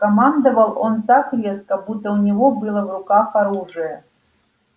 командовал он так резко будто у него было в руках оружие